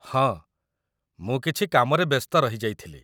ହଁ! ମୁଁ କିଛି କାମରେ ବ୍ୟସ୍ତ ରହିଯାଇଥିଲି ।